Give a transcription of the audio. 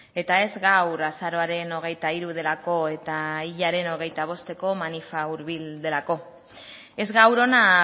eta ez gaur azaroaren hogeita hiru delako eta hilaren hogeita bosteko manifa hurbil delako ez gaur hona